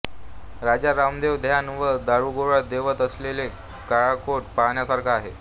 राजा रामदेव धान्य व दारूगोळा ठेवत असलेला काळाकोट पाहण्यासारखा आहे